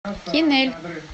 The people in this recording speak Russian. кинель